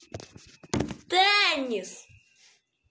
теннис